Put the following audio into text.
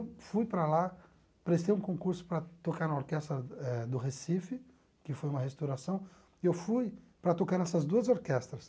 Fui para lá, prestei um concurso para tocar na Orquestra eh do Recife, que foi uma restauração, e eu fui para tocar nessas duas orquestras.